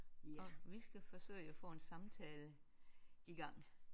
Og vi skal forsøge at få en samtale i gang